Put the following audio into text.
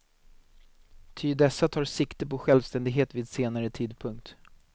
Ty dessa tar sikte på självständighet vid senare tidpunkt.